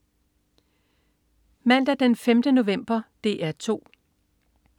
Mandag den 5. november - DR 2: